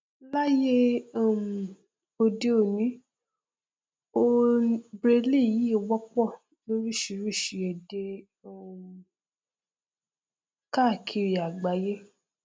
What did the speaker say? láyé um òde òni o braille yìí tí wọpọ lóríṣìíríṣìí èdè um káàkiri àgbáyé